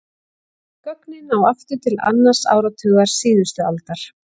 Gögnin ná aftur til annars áratugar síðustu aldar.